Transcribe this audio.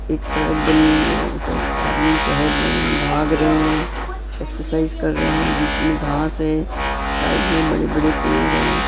एक सड़क बनी हुई है उधर आदमी टहल रहे हैं भाग रहे हैं एक्सरसाइज कर रहे हैं बीच में घास है साइड में बड़े-बड़े पेड़ हैं।